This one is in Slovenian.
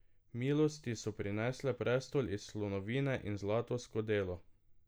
Milosti so prinesle prestol iz slonovine in zlato skodelo.